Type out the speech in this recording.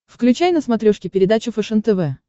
включай на смотрешке передачу фэшен тв